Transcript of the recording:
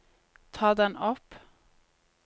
ta den opp